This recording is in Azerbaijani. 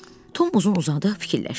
Tom uzun-uzadı fikirləşdi.